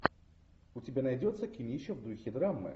у тебя найдется кинище в духе драмы